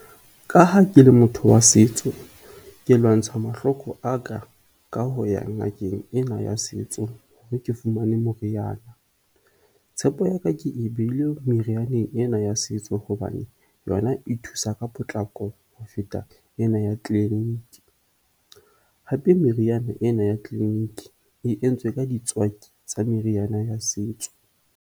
Ka ha ke le motho wa setso, ke lwantsha mahloko a ka ka ho ya ngakeng ena ya setso hore ke fumane moriana. Tshepo ya ka ke e behile merianeng ena ya setso hobane yona e thusa ka potlako ho feta ena ya clinic. Hape, meriana ena ya clinic e entswe ka ditswaki tsa meriana ya setso.